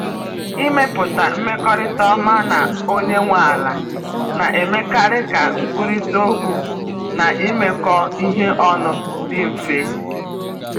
Ịmepụta mmekọrịta ọma na onye nwe ala na-emekarị ka nkwurịta okwu na imekọ ihe ọnụ dị mfe.